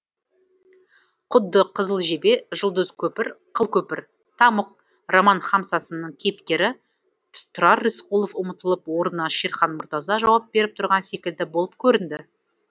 құдды қызыл жебе жұлдыз көпір қыл көпір тамұқ роман хамсасының кейіпкері тұрар рысқұлов ұмытылып орнына шерхан мұртаза жауап беріп тұрған секілді болып көрінді